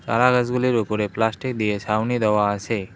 চারা গাছগুলির ওপরে প্লাস্টিক দিয়ে ছাউনি দেওয়া আসে।